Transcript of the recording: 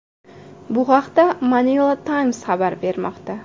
Bu haqda Manila Times xabar bermoqda .